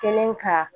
Kɛlen ka